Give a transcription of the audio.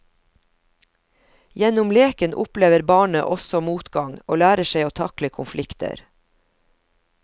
Gjennom leken opplever barnet også motgang og lærer seg å takle konflikter.